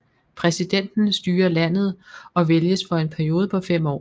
Præsidenten styrer landet og vælges for en periode på 5 år